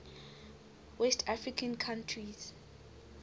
west african countries